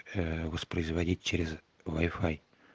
ээ воспроизводить через вай-фай